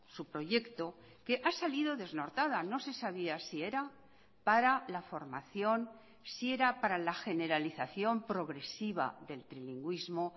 su proyecto que ha salido desnortada no se sabía si era para la formación si era para la generalización progresiva del trilingüismo